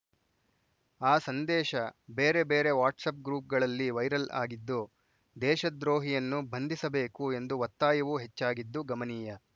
ಆ ಸಂದೇಶ ಬೇರೆ ಬೇರೆ ವ್ಯಾಟ್ಸಪ್‌ ಗ್ರೂಪ್‌ಗಳಲ್ಲಿ ವೈರಲ್‌ ಆಗಿದ್ದು ದೇಶದ್ರೋಹಿಯನ್ನು ಬಂಧಿಸಬೇಕು ಎಂದು ಒತ್ತಾಯವೂ ಹೆಚ್ಚಾಗಿದ್ದು ಗಮನೀಯ